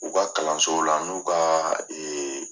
U ka kalanso ula anu'u ka